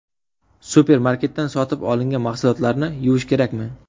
Supermarketdan sotib olingan mahsulotlarni yuvish kerakmi?